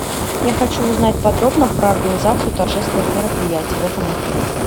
я хочу узнать подробно про организацию торжественных мероприятий в этом отеле